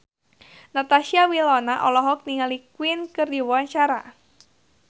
Natasha Wilona olohok ningali Queen keur diwawancara